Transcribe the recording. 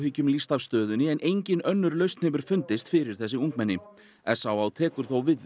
áhyggjum lýst af stöðunni en engin önnur lausn hefur fundist fyrir þessi ungmenni s á á tekur þó við